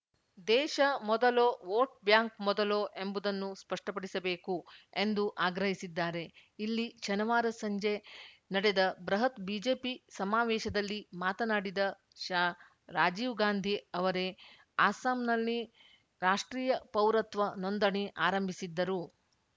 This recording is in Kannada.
ದೇಶ ಮೊದಲೋ ವೋಟ್‌ ಬ್ಯಾಂಕ್‌ ಮೊದಲೋ ಎಂಬುದನ್ನು ಸ್ಪಷ್ಟಪಡಿಸಬೇಕು ಎಂದು ಆಗ್ರಹಿಸಿದ್ದಾರೆ ಇಲ್ಲಿ ಶನಿವಾರ ಸಂಜೆ ನಡೆದ ಬೃಹತ್‌ ಬಿಜೆಪಿ ಸಮಾವೇಶದಲ್ಲಿ ಮಾತನಾಡಿದ ಶಾ ರಾಜೀವ್‌ ಗಾಂಧಿ ಅವರೇ ಅಸ್ಸಾಂನಲ್ಲಿ ರಾಷ್ಟ್ರೀಯ ಪೌರತ್ವ ನೋಂದಣಿ ಆರಂಭಿಸಿದ್ದರು